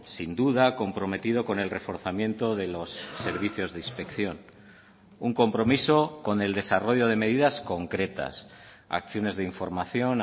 sin duda comprometido con el reforzamiento de los servicios de inspección un compromiso con el desarrollo de medidas concretas acciones de información